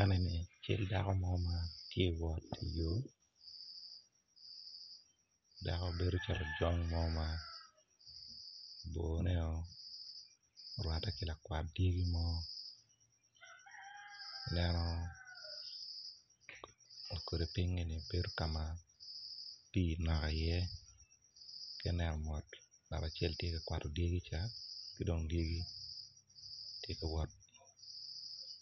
Eni kono tye dako ma oruko bongo dako man bedo calo ojong ma orwatte ki lakwat dyegi mo ladi piny man bedo